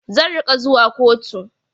Zan rinƙa zuwa koto.